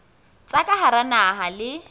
tsa ka hara naha le